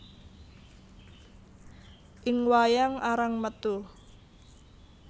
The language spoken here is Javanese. Ing wayang arang metu